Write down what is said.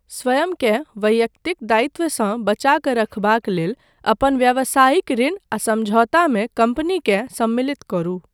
स्वयंकेँ वैयक्तिक दायित्वसँ बचा कऽ रखबाक लेल अपन व्यावसायिक ऋण आ समझौतामे कम्पनीकेँ सम्मिलित करू।